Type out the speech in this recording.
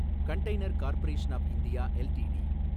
container corporation of India LTD